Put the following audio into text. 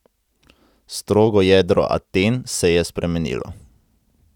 Strogo jedro Aten se je spremenilo.